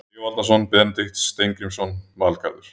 Sigvaldason, Benedikt Steingrímsson, Valgarður